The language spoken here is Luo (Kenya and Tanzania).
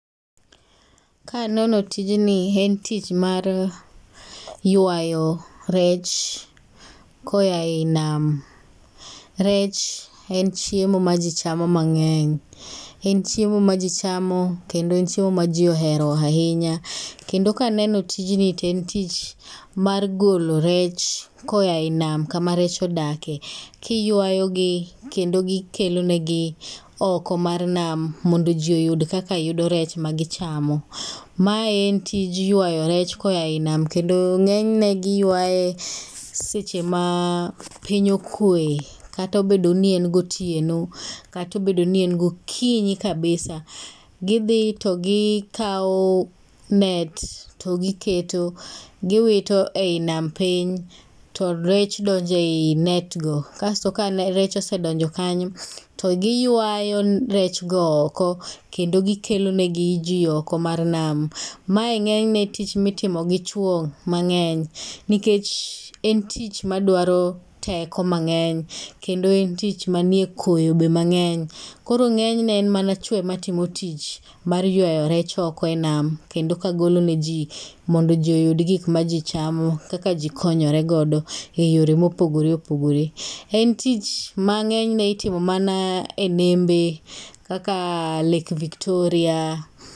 Ka aneno tijni, en tich mar ywayo rech koyaei nam. Rech en chiemo ma ji chamo mang'eny. En chiemo ma ji chamo. Kendo en chiemo ma ji ohero ahinya. Kendo ka aneno tijni to en tich mar golo rech koyaei nam kama rech odakie. Ka iywayo gi, kendo gi kelonegi oko mar nam, mondo ji oyud kaka giyudo rech ma gichamo. Ma en tij ywayo rech koyaei nam, kendo ng'enyne giywaye seche ma piny okwe. Kata obedo ni en gotieno. Kata obedo ni en gokinyi kabisa. Gidhi to gikawo net to giketo, giwito ei nam piny, to rech donjo ei net go, Kasoto ka rech osedonjo kanyo, to giywayo rech go oko. Kendo gikelo negi ji oko mar nam. Mae ng'enyne tich ma itimo gi chwo mangeny. Nikech en tich madwaro teko mang'eny kendo en tich manie koyo be mang'eny. Koro ng'enyne en mana chwo ema timo tich mar ywayo rech oko e nam. Kendo ka golo ne ji, mondo ji oyud gik ma ji chamo, kaka ji konyore godo e yore mopogore opogore. En tich ma ng'enyne itimo mana e nembe kaka [cslake Victoria.